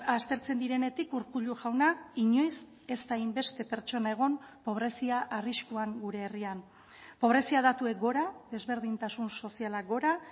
aztertzen direnetik urkullu jauna inoiz ez da hainbeste pertsona egon pobrezia arriskuan gure herrian pobrezia datuek gora desberdintasun sozialak gora